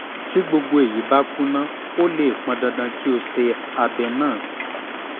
tí gbogbo èyí bá kùnà ó lè pọn dandan kí o ṣe abẹ́ abẹ́